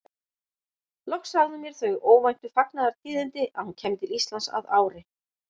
Loks sagði hún mér þau óvæntu fagnaðartíðindi að hún kæmi til Íslands að ári.